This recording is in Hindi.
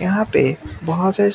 यहां पे बहुत सारी--